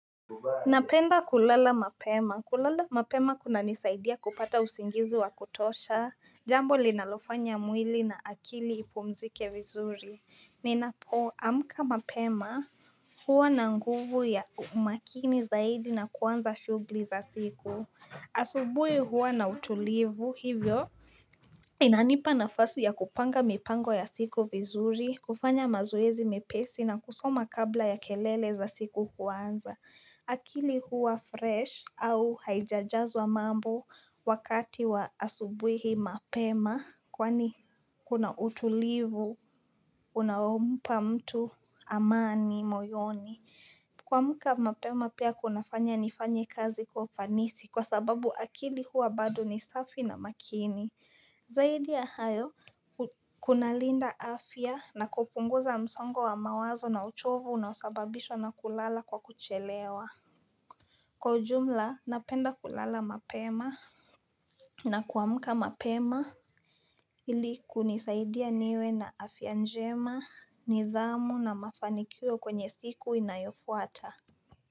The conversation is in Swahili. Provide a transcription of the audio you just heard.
Napenda kulala mapema. Kulala mapema kunanisaidia kupata usingizi wa kutosha. Jambo linalofanya mwili na akili ipumzike vizuri. Ninapoamka mapema huwa na nguvu ya umakini zaidi na kuanza shughuli za siku. Asubuhi huwa na utulivu. Hivyo inanipa nafasi ya kupanga mipango ya siku vizuri, kufanya mazoezi mepesi na kusoma kabla ya kelele za siku kuanza. Akili huwa fresh au haijajazwa mambo wakati wa asubuhi mapema kwani kuna utulivu, unaompa mtu amani, moyoni. Kuamka mapema pia kunafanya nifanye kazi kwa ufanisi kwa sababu akili huwa bado ni safi na makini. Zaidi ya hayo, kunalinda afya na kupunguza msongo wa mawazo na uchovu unaosababishwa na kulala kwa kuchelewa. Kwa ujumla, napenda kulala mapema na kuamka mapema ili kunisaidia niwe na afya njema, nidhamu na mafanikio kwenye siku inayofuata.